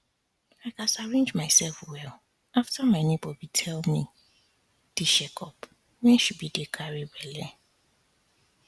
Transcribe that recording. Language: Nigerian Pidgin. i gats arrange myself well after my neighbor be tell me the checkup wen she be dey carry belle